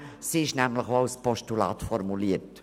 Sie ist nämlich auch als Postulat formuliert.